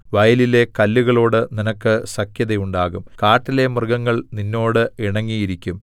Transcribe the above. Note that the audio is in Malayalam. വയലിലെ കല്ലുകളോട് നിനക്ക് സഖ്യതയുണ്ടാകും കാട്ടിലെ മൃഗങ്ങൾ നിന്നോട് ഇണങ്ങിയിരിക്കും